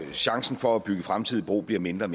chancen for at bygge fremtidig bro bliver mindre